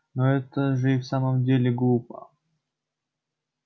но это же и в самом деле глупо